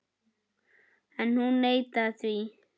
En hún neitaði því.